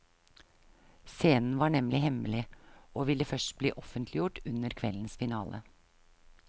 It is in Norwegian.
Scenen var nemlig hemmelig, og vil først bli offentliggjort under kveldens finale.